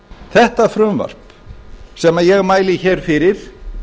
þetta frumvarp sem ég mæli hér fyrir